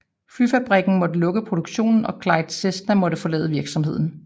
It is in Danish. Flyfabrikken måtte lukke produktionen og Clyde Cessna måtte forlade virksomheden